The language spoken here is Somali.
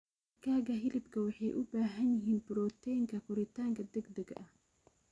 Digaaga hilibka waxay u baahan yihiin borotiinka koritaanka degdegga ah.